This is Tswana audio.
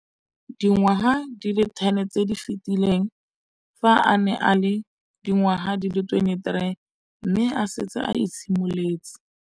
Dingwaga di le 10 tse di fetileng, fa a ne a le dingwaga di le 23 mme a setse a itshimoletse.